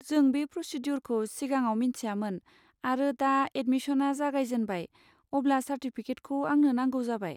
जों बे प्रसिद्युरखौ सिगाङाव मोन्थियामोन आरो दा एदमिसना जागायजेनबाय अब्ला चार्टिफिकेटखौ आंनो नांगौ जाबाय।